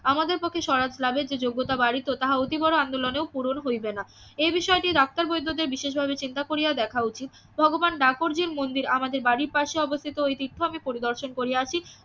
আমাদের পক্ষে সহায়তা লাভের যে যোগ্যতা বাড়িত তাহা অতি বড় আন্দোলনেও পূরণ হইবে না এ বিষয়টি ডাক্তার বৈদ্যদের বিশেষ ভাবে চিন্তা করিয়া দেখা উচিত ভগবান মন্দির আমাদের বাড়ির পাশে উপস্থিত ওই তীর্থ আমি পরিদর্শন করিয়াছি